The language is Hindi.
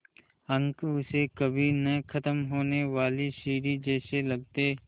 अंक उसे कभी न ख़त्म होने वाली सीढ़ी जैसे लगते